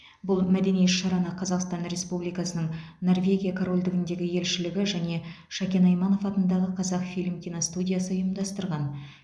бұл мәдени іс шараны қазақстан республикасының норвегия корольдігіндегі елшілігі және шәкен айманов атындағы қазақфильм киностудиясы ұйымдастырған